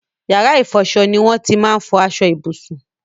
Yàrá ìfọṣọ ni won ti máa n fọ aṣọ ìbùsùn